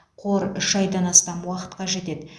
қор үш айдан астам уақытқа жетеді